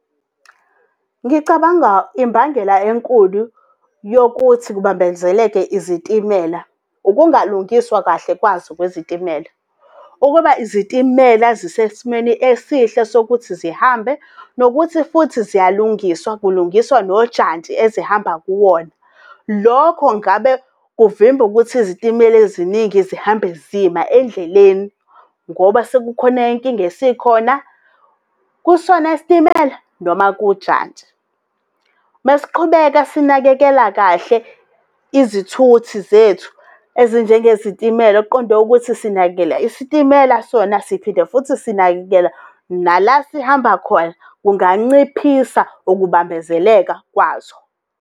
Ngicabanga imbangela enkulu yokuthi kubambezeleke izitimela, ukungalungiswa kahle kwazo kwezitimela. Ukuba izitimela zisesimweni esihle sokuthi zihambe, nokuthi futhi ziyalungiswa, kulungiswa nojantshi ezihamba kuwona. Lokho ngabe kuvimba ukuthi izitimela eziningi zihambe zima endleleni, ngoba sekukhona inkinga esikhona, kusona isitimela noma kujantshi. Mesiqhubeka sinakekela kahle izithuthi zethu ezinjengezitimela, kuqonde ukuthi sinakekela isitimela sona siphinda futhi sinakekela nala sihamba khona, kunganciphisa ukubambezeleka kwazo.